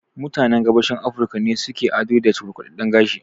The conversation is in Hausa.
Mutanen Gabashin Afirika ne su ke ado da cukurkudadden gashi